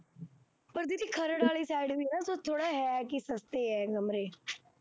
ਪਰ ਦੀਦੀ ਖਰੜ ਵਾਲੀ side ਕੁੱਛ ਥੋੜ੍ਹ ਹੈ ਵੀ ਸਸਤੇ ਹੈ ਰੇਟ